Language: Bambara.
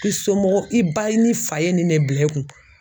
I somɔgɔw i ba ni fa ye nin ne bila i kun.